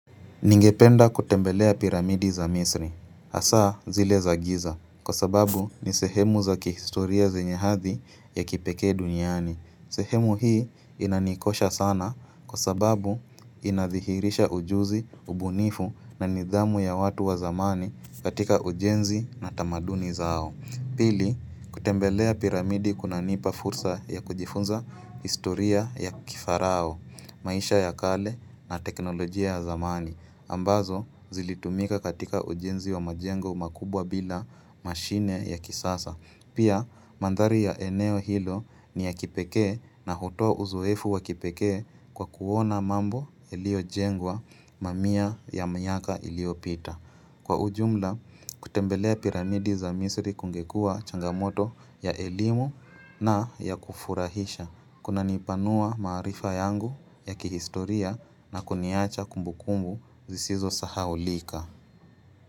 Ningependa kutembelea piramidi za misri, hasa zile za giza, kwa sababu ni sehemu za kihistoria zenye hadhi ya kipekee duniani. Sehemu hii inanikosha sana kwa sababu inadhihirisha ujuzi, ubunifu na nidhamu ya watu wa zamani katika ujenzi na tamaduni zao. Pili, kutembelea piramidi kunanipa fursa ya kujifunza historia ya kifarao, maisha ya kale na teknolojia ya zamani. Ambazo zilitumika katika ujenzi wa majengo makubwa bila mashine ya kisasa Pia mandhari ya eneo hilo ni ya kipekee na hutoa uzoefu wa kipekee kwa kuona mambo iliyojengwa mamia ya miaka iliyopita Kwa ujumla kutembelea piramidi za misri kungekua changamoto ya elimu na ya kufurahisha Kunanipanua maarifa yangu ya kihistoria na kuniacha kumbu kumbu zisizo sahaulika.